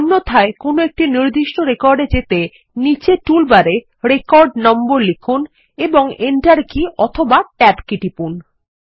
অন্যথায় কোনোএকটি নির্দিষ্ট রেকর্ড এ যেতে নীচে টুলবারে রেকর্ড নম্বর লিখুন এবং এন্টার কী অথবা ট্যাব কী টিপুন